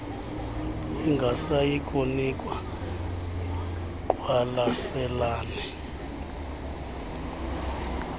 ingasayi kunikwa ngqwalaselane